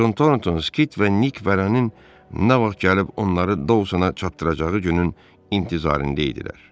Con Thornton, Skit və Nik Vərənin nə vaxt gəlib onları Dousona çatdıracağı günün intizarında idilər.